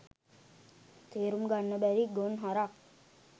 තේරුම් ගන්න බැරි ගොන් හරක්